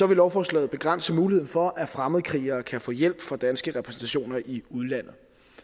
vil lovforslaget begrænse muligheden for at fremmedkrigere kan få hjælp fra danske repræsentationer i udlandet